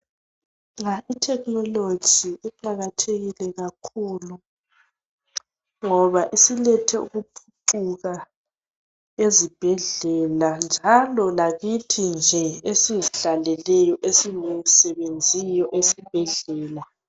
Nxa ithekhinoloji iqakathekile kakhulu ngoba isilethe ukuphucuka ezibhedlela njalo lakithi nje esizihlaleleyo esingasebenziyo esibhedlela.